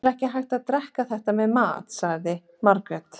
Það er ekki hægt að drekka þetta með mat, sagði Margrét.